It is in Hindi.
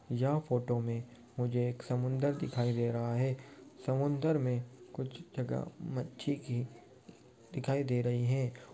यह फोटो में मुझे एक समुंदर दिखाई दे रहा है। समुंदर में कुछ जगह मच्छी की दिखाई दे रही है।